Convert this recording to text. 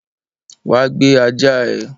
Wá gbé ajá ẹ!